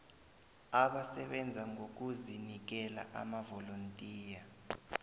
abasebenza ngokuzinikela amavolontiya